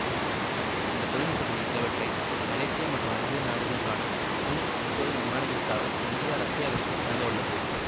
இந்த தொழில்நுட்பங்களில் சிலவற்றை மலேசியா மற்றும் அல்ஜீரியா நாடுகளுக்கான சு முப்பது விமானங்களுக்காக இந்தியா ரஷ்யாவிற்கு வழங்கவுள்ளது